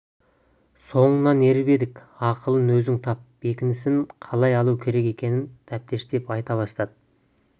соңыңнан еріп едік ақылын өзің тап бекінісін қалай алу керек екенін тәптіштеп айта бастады